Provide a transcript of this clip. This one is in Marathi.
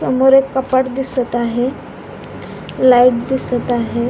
समोर एक कपाट दिसत आहे लाइट दिसत आहे.